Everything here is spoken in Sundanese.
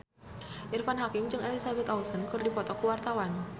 Irfan Hakim jeung Elizabeth Olsen keur dipoto ku wartawan